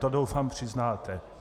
To, doufám, přiznáte.